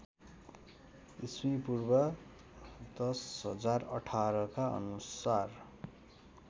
ईपू १०१८ का अनुसार